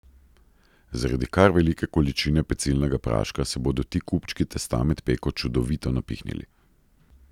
Zaradi kar velike količine pecilnega praška se bodo ti kupčki testa med peko čudovito napihnili.